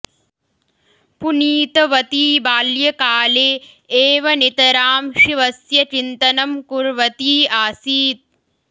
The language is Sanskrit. पुनीतवती बाल्यकाले एव नितरां शिवस्य चिन्तनं कुर्वती आसीत्